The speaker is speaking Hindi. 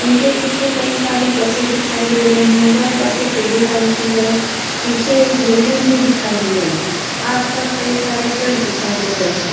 उनके पीछे कई सारी बसें दिखाई दे रही हैं। वह बसें पीले रंग की हैं। पीछे एक बिल्डिंग भी दिखाई दे रहीं है। आस-पास कई सारे पेड़ दिखाई दे रहे हैं।